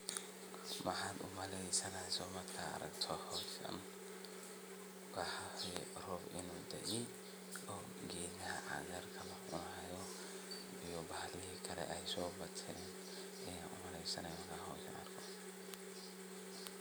Maxad uma leysaneysa markad aragto hoskan roob inu dae Oo gedha cagarka cuno iyo bahalihi kale sobadten markad aragto